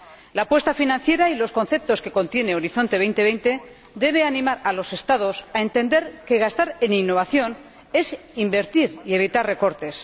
La apuesta financiera y los conceptos que contiene Horizonte 2020 deben animar a los Estados a entender que gastar en innovación es invertir y evitar recortes.